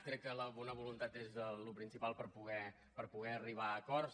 crec que la bona voluntat és el principal per poder arribar a acords